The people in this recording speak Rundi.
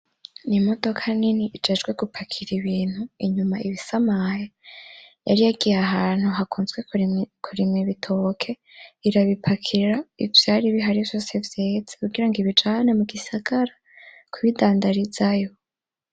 Imodoka nini ijejwe gupakira ibintu, inyuma iba isamaye, yari yagiye ahantu hakuzwe kurema ibitoke irabimbakira ivyari bihari vyose vyeze kugira ngo ibijane mugisagara kubindadarizayo.